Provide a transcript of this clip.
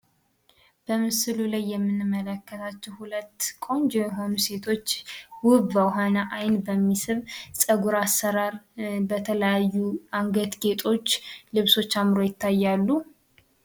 በምስሉ ላይ የምንመለከታቸው 2 ቆንጆ የሆኑ ሴቶች ውብ በሆነ ዓይን በሚስብ ፀጉር አሰራር በተለያዩ አንገት ጌጦች ልብሶች አምረው ይታያሉ።